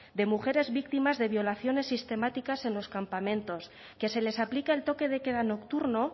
de mujeres víctimas de violaciones sistemáticas en los campamentos que se les aplica el toque de queda nocturno